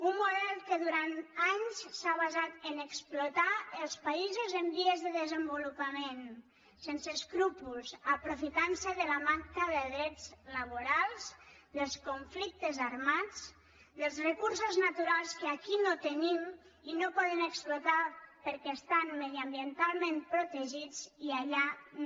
un model que durant anys s’ha basat a explotar els països en via de desenvolupament sense escrúpols aprofitant se de la manca de drets laborals dels conflictes armats dels recursos naturals que aquí no tenim i no podem explotar perquè estan mediambientalment protegits i allà no